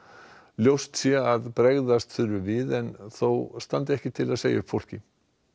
ljóst sé að bregðast þurfi við en þó standi ekki til að segja upp fólki